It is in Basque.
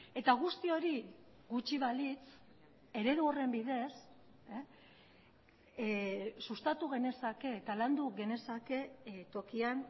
eta guzti hori gutxi balitz eredu horren bidez sustatu genezake eta landu genezake tokian